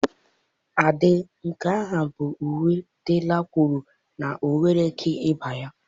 Ade nke ahụ bụ uwe Dela kwuru na ọ nweghị ike ịba ya.